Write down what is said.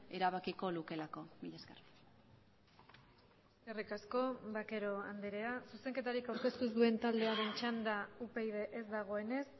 erabakiko lukeelako mila esker eskerrik asko vaquero andrea zuzenketarik aurkeztu ez duen taldearen txanda upyd ez dagoenez